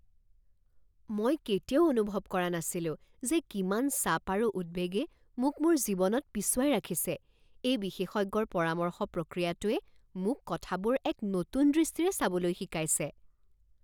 মই কেতিয়াও অনুভৱ কৰা নাছিলো যে কিমান চাপ আৰু উদ্বেগে মোক মোৰ জীৱনত পিছুৱাই ৰাখিছে। এই বিশেষজ্ঞৰ পৰামৰ্শ প্ৰক্ৰিয়াটোৱে মোক কথাবোৰ এক নতুন দৃষ্টিৰে চাবলৈ শিকাইছে!